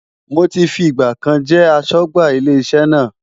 Mo ti fi ìgbà kan jẹ́ aṣọ́gbà ilé iṣẹ́ náà.